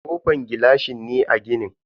Kofan gilashi ne a ginin.